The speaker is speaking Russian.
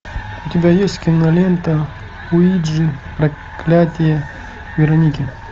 у тебя есть кинолента уиджи проклятие вероники